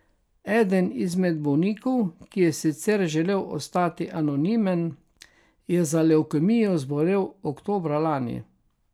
Eden izmed bolnikov, ki je sicer želel ostati anonimen, je za levkemijo zbolel oktobra lani.